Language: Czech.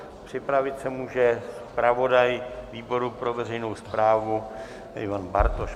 Připravit se může zpravodaj výboru pro veřejnou správu Ivan Bartoš.